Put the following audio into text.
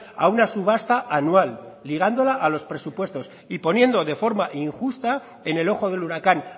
a una subasta anual ligándola a los presupuestos y poniendo de forma injusta en el ojo del huracán